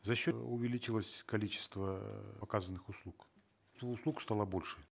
за счет увеличилось количество оказанных услуг услуг стало больше